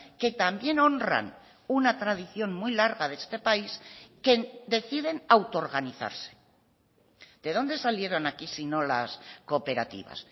que también honran una tradición muy larga de este país que deciden autoorganizarse de dónde salieron aquí si no las cooperativas